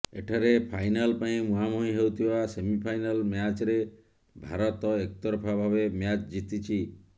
ଏଠାରେ ଫାଇନାଲ ପାଇଁ ମୁହାଁମୁହିଁ ହେଉଥିବା ସେମିଫାଇନାଲ ମ୍ୟାଚ୍ରେ ଭାରତ ଏକତରଫା ଭାବେ ମ୍ୟାଚ୍ ଜିତିଛି